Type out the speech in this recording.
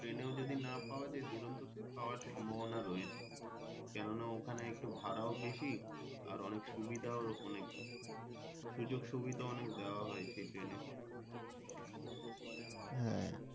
train এও যদি না পাওয়া যাই দূরান্ত তে পাওয়া সম্ভাবনা রয়েছে কেন না ওখানে ভারও বেশি আর অনেক সুবিধাও ওখানে সুযোগ সুবিধা অনেক দেওয়া হয় সেই train এ হ্যাঁ।